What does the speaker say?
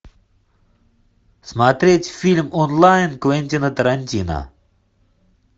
смотреть фильм онлайн квентина тарантино